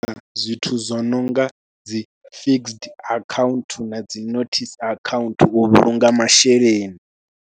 Zwithu zwo no nga dzi Fixed account na dzi Notice account u vhulunga masheleni.